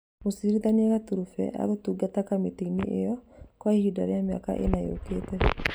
Mũcirithania Katureebe agũtungata Kamĩtĩ-inĩ iyo kwa ihinda rĩa mĩaka ĩna yũkĩte